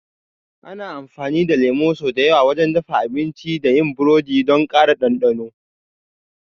Ana amfani da lemu sau da yawa wajen dafa abinci da yin burodi don ƙara ɗanɗano.